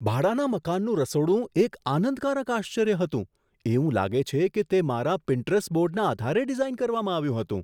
ભાડાના મકાનનું રસોડું એક આનંદકારક આશ્ચર્ય હતું એવું લાગે છે કે તે મારા પિન્ટરસ્ટ બોર્ડના આધારે ડિઝાઈન કરવામાં આવ્યું હતું!